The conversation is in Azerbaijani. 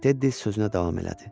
Tedi sözünə davam elədi.